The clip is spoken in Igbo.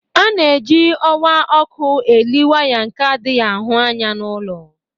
A na-eji ọwa ọkụ eli waya nke adịghị ahụ anya n'ulọ.